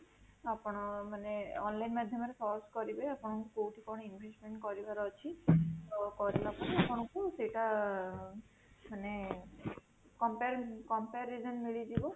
ଆପଣ ମାନେ online ମାଧ୍ୟମରେ search କରିବେ ଆପଣଙ୍କୁ କୋଉଠି କଣ investment କରିବାର ଅଛି, ତ କରିଲା ପରେ ଆପଣାକୁ ସେଇଟା ମାନେ compare comprising ମିଳିଯିବ